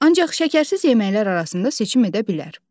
Ancaq şəkərsiz yeməklər arasında seçim edə bilər.